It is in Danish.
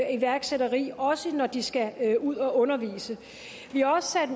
af iværksætteri også når de skal ud at undervise vi har også sat